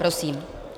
Prosím.